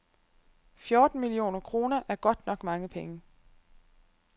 Fjorten millioner kroner er godt nok mange penge.